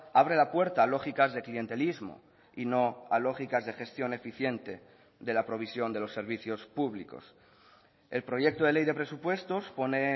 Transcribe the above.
abre la puerta a lógicas de clientelismo y no a lógicas de gestión eficiente de la provisión de los servicios públicos el proyecto de ley de presupuestos pone